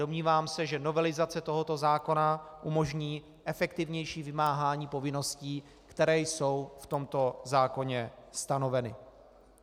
Domnívám se, že novelizace tohoto zákona umožní efektivnější vymáhání povinností, které jsou v tomto zákoně stanoveny.